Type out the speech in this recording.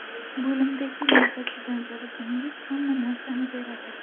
Bo‘limdagi navbatchidan so‘rasangiz, hamma narsani beradi.